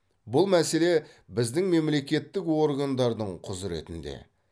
бұл мәселе біздің мемлекеттік органдардың құзыретінде